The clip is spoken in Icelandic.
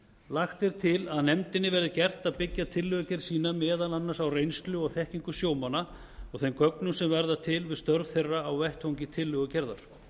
lagt er til að nefndinni verði gert að byggja tillögugerð sína meðal annars á reynslu og þekkingu sjómanna og þeim gögnum sem verða til við störf þeirra á vettvangi tillögugerðar